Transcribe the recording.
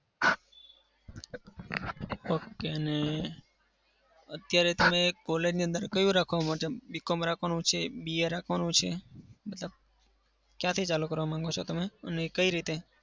okay ને અત્યારે તમે college ની અંદર કયું રાખવા માટે BCom રાખવાનું છે? BA રાખવાનું છે? મતલબ ક્યાંથી ચાલુ કરવા માંગો છો તમે? અને એ કઈ રીતે?